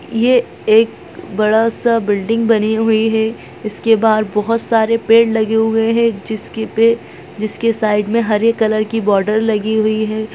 यह एक बड़ा सा बिल्डिंग बनी हुई है इसके बाहर बहुत सारे पेड़ लगे हुए है जिसके साइड में हरे कलर की बॉर्डर लगी हुई है।